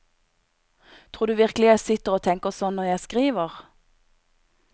Tror du virkelig jeg sitter og tenker sånn når jeg skriver?